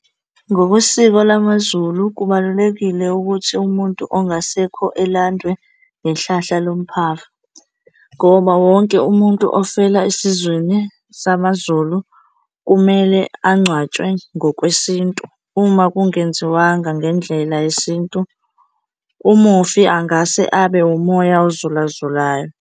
Ngokwesiko lamaZulu, kubalulekile ukuthi umuntu ongasekho elandwe ngehlahla lomphafa ngoba wonke umuntu ofela esizweni samaZulu kumele angcwatshwe ngokwesintu. Uma kungenziwanga ngendlela yesintu, umufi angase abe umoya uzulazulayo.